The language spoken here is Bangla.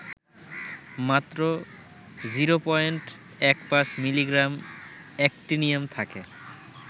মাত্র ০.১৫ মিলিগ্রাম অ্যাক্টিনিয়াম থাকে